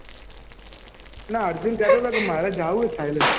ના અર્જુન કેહતો હતો મારે જવાનું છે થઈલેન્ડ